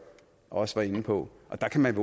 også var inde på og der kan man